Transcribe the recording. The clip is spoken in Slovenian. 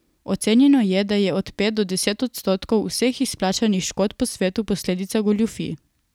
Ocenjeno je, da je od pet do deset odstotkov vseh izplačanih škod po svetu posledica goljufij.